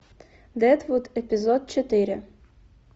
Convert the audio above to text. дедвуд эпизод четыре